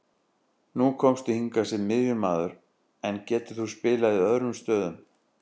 Nú komstu hingað sem miðjumaður, en getur þú spilað í öðrum stöðum?